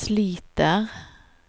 sliter